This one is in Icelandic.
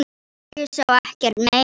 Ég sá ekkert mein.